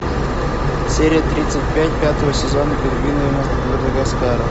серия тридцать пять пятого сезона пингвины мадагаскара